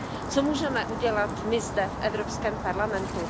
Co můžeme udělat my zde, v Evropském parlamentu?